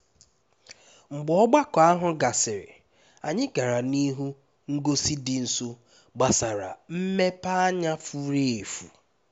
mgbe ogbako ahụ gasịrị anyị gara n'ihe ngosi dị nso gbasara mmepeanya furu efu